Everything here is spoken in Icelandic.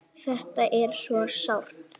Þetta er svo sárt.